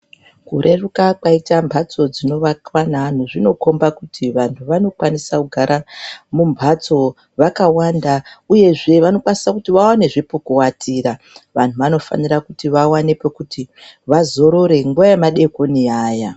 Kureruka kwaita mhatso dzinoakwa ngeantu zvinokhombe kuti vanhu vanokwanisa kugara mumhatso vakawanda uyezve vanokwanisa kuti vawanezve pekuwatira. Vantu vanofanira kuti vawane pekuti vazorere nguwa yemadekoni iya.